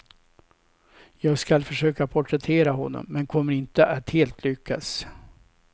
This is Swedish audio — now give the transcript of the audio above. Jag skall försöka porträttera honom, men kommer inte att helt lyckas.